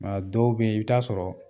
dɔw be yen, i bi taa sɔrɔ